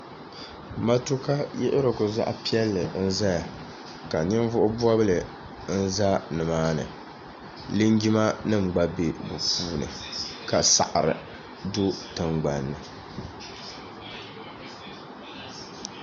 matuukayiɣirigu zaɣ' piɛlli n-zaya ka ninvuɣ' bɔbili n-za ni maa ni linjimanima gba be bɛ puuni ka saɣiri do tiŋgbani ni